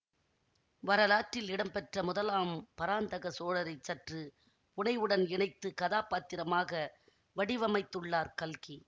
வரலாற்றில் இடம்பெற்ற முதலாம் பராந்தக சோழரைச் சற்று புனைவுடன் இணைத்து கதா பாத்திரமாக வடிவமைத்துள்ளார் கல்கி